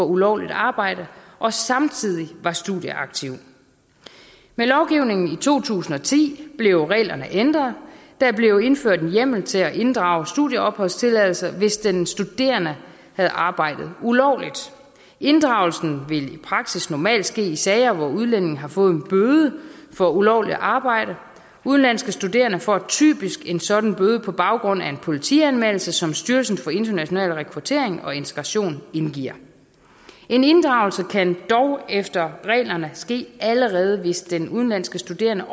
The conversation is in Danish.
ulovligt arbejde og samtidig var studieaktiv med lovgivningen i to tusind og ti blev reglerne ændret der blev indført en hjemmel til at inddrage studieopholdstilladelsen hvis den studerende havde arbejdet ulovligt inddragelsen ville i praksis normalt ske i sager hvor udlændingen har fået en bøde for ulovligt arbejde udenlandske studerende får typisk en sådan bøde på baggrund af en politianmeldelse som styrelsen for international rekruttering og integration indgiver en inddragelse kan dog efter reglerne ske allerede hvis den udenlandske studerende